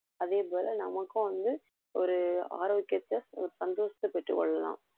அதே போல நமக்கும் வந்து ஒரு ஆரோக்கியத்தை ஒரு சந்தோஷத்தைப் பெற்றுக் கொள்ளலாம்